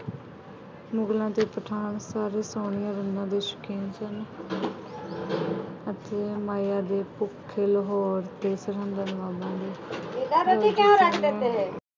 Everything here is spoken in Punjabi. ਮੁਗਲਾਂ ਦੇ ਪਠਾਨ ਸਾਰੇ ਸੋਹਣੀਆਂ ਰੰਨਾਂ ਦੇ ਸ਼ੌਕੀਨ ਸਨ। ਅਤੇ ਮਾਇਆ ਦੇ ਭੁੱਖੇ ਲਾਹੌਰ ਅਤੇ ਸਰਹੰਦ ਦਾ ਨਵਾਬ